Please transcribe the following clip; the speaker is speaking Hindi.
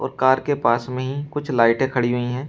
और कार के पास में ही कुछ लाइटे खड़ी हुई हैं।